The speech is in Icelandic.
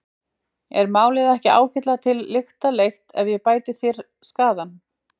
Er málið ekki ágætlega til lykta leitt ef ég bæti þér skaðann?